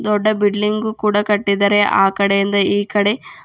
ದೊಡ್ಡ ಬಿಡ್ಲಿಂಗು ಕೂಡ ಕಟ್ಟಿದರೆ ಆ ಕಡೆಯಿಂದ ಈ ಕಡೆ.